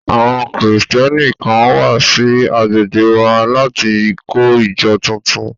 Àwọn Kristẹni kan wà sí agbègbè wa láti kọ́ ìjọ tuntun